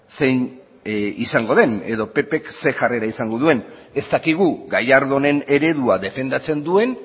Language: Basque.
zein izango den edo ppk zein jarrera izango duen ez dakigu gallardonen eredua defendatzen duen